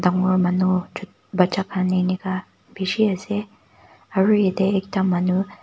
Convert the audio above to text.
dangor manu cht baccha khan enika bishi ase aro etey ekta manu--